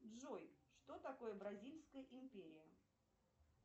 джой что такое бразильская империя